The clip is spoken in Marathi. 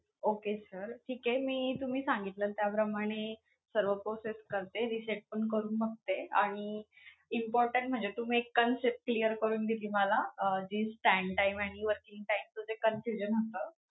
Okay sir. ठीक आहे. मी तुम्ही सांगितल्या त्याप्रमाणे सर्व process करते, reset पण करून बघते आणि important म्हणजे तुम्ही एक concept clear करून दिली मला अं जी stand time आणि working time च जे confusion होतं.